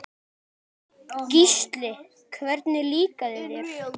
Gísli: Hvernig líkaði þér?